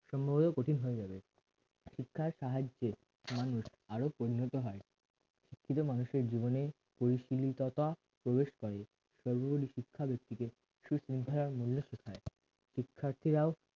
সম্ভাব্যবত কঠিন হয়ে যাবে শিক্ষার সাহায্যে মানুষ আরো পরিণত হয় শিক্ষিত মানুষের জীবন পরিশিলিততা প্রবেশ করে শিক্ষা ব্যক্তিকে মূল্য শিখায় শিক্ষার্থীরাও